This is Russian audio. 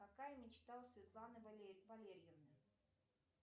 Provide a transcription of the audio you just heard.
какая мечта у светланы валерьевны